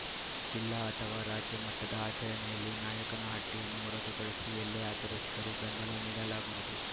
ಜಿಲ್ಲಾ ಅಥವಾ ರಾಜ್ಯ ಮಟ್ಟದ ಆಚರಣೆಯಲ್ಲಿ ನಾಯಕನಹಟ್ಟಿಯನ್ನು ಹೊರತುಪಡಿಸಿ ಎಲ್ಲೇ ಆಚರಿಸಿದರೂ ಬೆಂಬಲ ನೀಡಲಾಗುವುದು